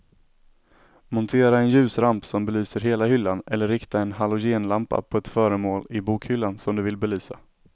Montera en ljusramp som belyser hela hyllan eller rikta en halogenlampa på ett föremål i bokhyllan som du vill belysa.